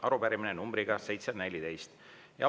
Arupärimine numbriga 714.